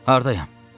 Hardayam?